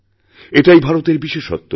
এটাই ভারতের বিশেষত্ব